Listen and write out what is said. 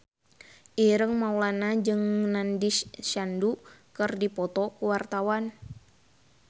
Ireng Maulana jeung Nandish Sandhu keur dipoto ku wartawan